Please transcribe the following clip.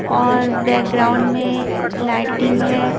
और बैकग्राउंड में लाइटिंग है.